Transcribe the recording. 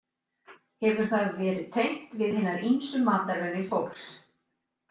Hefur það það verið tengt við hinar ýmsu matarvenjur fólks.